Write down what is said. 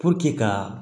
ka